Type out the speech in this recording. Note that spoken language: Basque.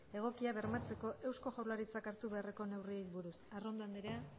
egokia bermatzeko eusko jaurlaritzak hartu beharreko neurriei buruz arrondo andrea